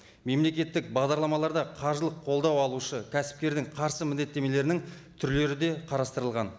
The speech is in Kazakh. мемлекеттік бағдарламаларда қаржылық қолдау алушы кәсіпкердің қарсы міндеттемелерінің түрлері де қарастырылған